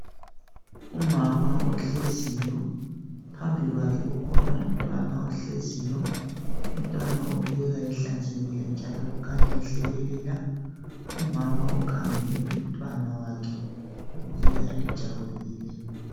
Umama ohleziyo phambi kwakhe kukhona umntwana ohleziyo umntwana ubukeka ehlanzekile njalo ehlekelela umama ukhangele umntwana wakhe ubukeka ejabulile